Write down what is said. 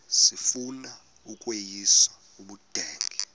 sifuna ukweyis ubudenge